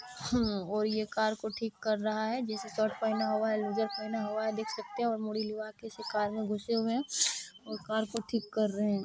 हम्म और ये कार को ठीक कर रहा है जिसने शर्ट पहना हुआ है लूजर पहना हुआ है देख सकते है और मुरी लिबा कर कार में ऐसे घुसे हुए है और कार को ठीक कर रहे है।